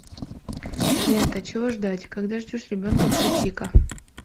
лента чего ждать когда ждешь ребенка включи ка